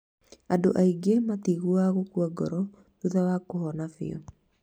Andũ aingĩ matiiguaga gũkua ngoro thutha wa kũhona biũ.